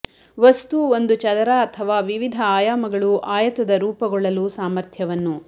ವಸ್ತು ಒಂದು ಚದರ ಅಥವಾ ವಿವಿಧ ಆಯಾಮಗಳು ಆಯತದ ರೂಪಗೊಳ್ಳಲು ಸಾಮರ್ಥ್ಯವನ್ನು